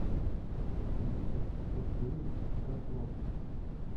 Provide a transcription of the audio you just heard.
виктор сергеевич рослов